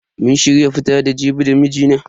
Mun shirya fita da Jibi da mijina.